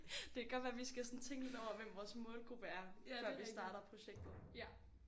Det kan godt være vi skal sådan tænke lidt over hvem vores målgruppe er før vi starter projektet